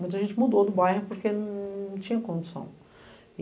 Muita gente mudou do bairro porque não tinha condição.